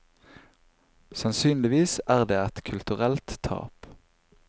Sannsynligvis er det et kulturelt tap.